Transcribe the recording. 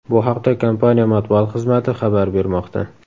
Bu haqda kompaniya matbuot xizmati xabar bermoqda .